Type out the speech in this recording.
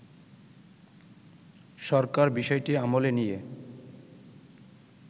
সরকার বিষয়টি আমলে নিয়ে